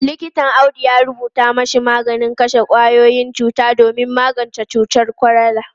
Likitan Audu ya rubuta mashi maganin kashe kwayoyin cuta domin magance cutar kwalara.